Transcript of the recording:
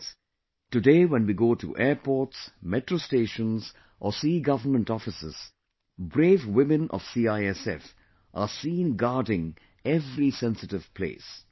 Friends, today when we go to airports, metro stations or see government offices, brave women of CISF are seen guarding every sensitive place